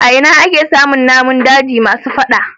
A ina ake samun namun daji masu fada.